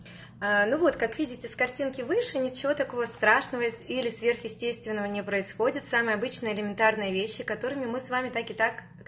ну вот как видите с картинки выше ничего такого страшного или сверхъестественного не происходит самые обычные элементарные вещи которыми мы с вами так и так